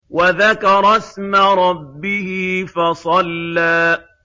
وَذَكَرَ اسْمَ رَبِّهِ فَصَلَّىٰ